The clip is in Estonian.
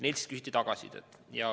Neilt küsiti tagasisidet.